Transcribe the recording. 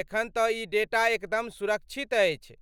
एखन तँ ई डेटा एकदम सुरक्षित अछि,